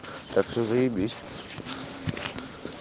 так все заибись